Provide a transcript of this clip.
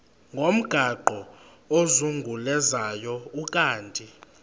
ngomgaqo ozungulezayo ukanti